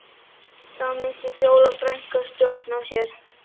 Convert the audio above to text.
Þá missir Fjóla frænka stjórn á sér